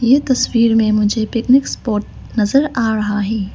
ये तस्वीर में मुझे पिकनिक स्पॉट नजर आ रहा है।